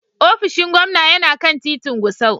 Ofishin gwamna yana kan titin Gusau.